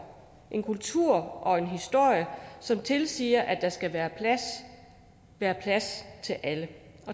en kultur og en historie som tilsiger at der skal være plads til alle